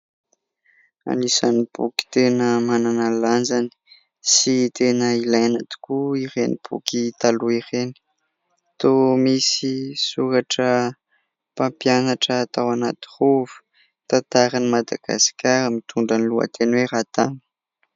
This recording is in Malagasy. Anisany boky tena manana ny lanjany sy tena ilaina tokoa ireny boky taloha ireny. Toa misy soratra mpampianatra tao anaty rova, tantaran' i Madagasikara mitondra ny lohateny hoe Ratany.